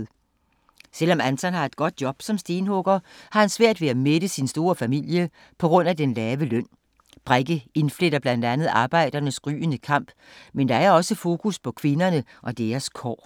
Selvom Anton har et godt job som stenhugger, har han svært ved at mætte sin store familie på grund af den lave løn. Brekke indfletter blandt andet arbejdernes gryende kamp, men der er også fokus på kvinderne og deres kår.